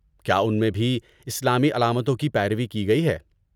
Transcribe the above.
کیا اُن میں بھی اسلامی علامتوں کی پیروی کی گئی ہے؟